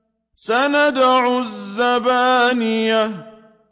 سَنَدْعُ الزَّبَانِيَةَ